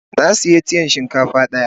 Na siya tiyan shinkafa daya.